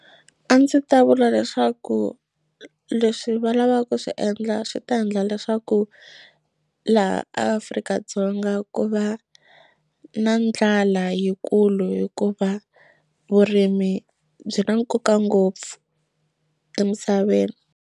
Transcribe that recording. A ndzi ta vula leswaku leswi va lavaka ku swi endla swi ta endla leswaku laha Afrika-Dzonga ku va na ndlala yikulu hikuva vurimi byi na nkoka ngopfu emisaveni.